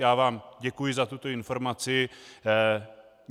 Já vám děkuji za tuto informaci.